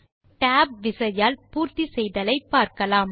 இப்போது tab விசையால் பூர்த்தி செய்தலை பார்க்கலாம்